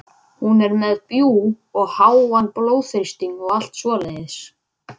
Hún er með bjúg og háan blóðþrýsting og allt svoleiðis.